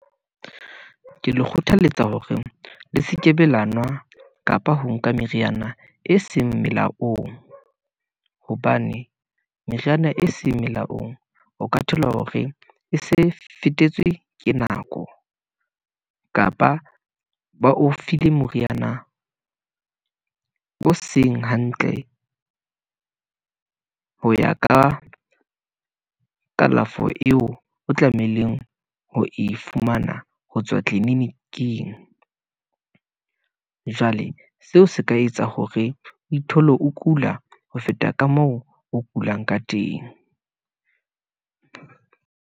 Ke le kgothaletsa hore le sekebe la nwa, kapa ho nka meriana e seng melaong, hobane meriana e seng melaong, o ka thola hore e se fetetswe ke nako , kapa ba o file moriana o seng hantle , ho ya ka kalafo eo o tlameileng ho e fumana, hotswa tliliniking . Jwale seo se ka etsa hore o ithole, o kula ho feta ka moo o kulang ka teng.